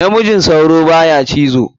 Namijin sauro baya cizo.